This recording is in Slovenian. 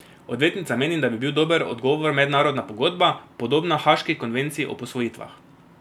Odvetnica meni, da bi bil dober odgovor mednarodna pogodba, podobna haaški konvenciji o posvojitvah.